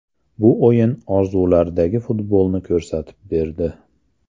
Bu o‘yin orzulardagi futbolni ko‘rsatib berdi”.